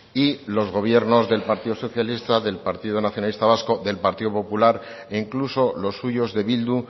y los gobiernos del partido socialista del partido nacionalista vasco del partido popular e incluso los suyos de bildu